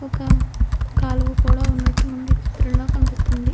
ఒక కాలువ కూడా ఉన్నట్టు మనకి ఈ చిత్రంలో కనిపిస్తుంది.